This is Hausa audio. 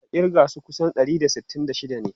Ka kirga su ka san su dari da sittin da shida ne?